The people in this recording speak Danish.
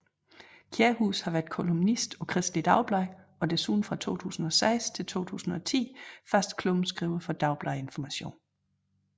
Kjærhus har været kolumnist på Kristeligt Dagblad og desuden fra 2006 til 2010 fast klummeskriver for Dagbladet Information